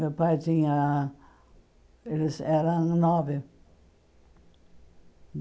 Meu pai tinha... Eles eram nove.